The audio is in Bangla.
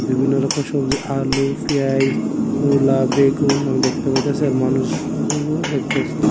বিভিন্ন রকম সব্জি আলু পেয়াঁইজ মূলা বেগুন আমি দেখতা পাইতাসি আর মানুষগুলো দেখতাসি।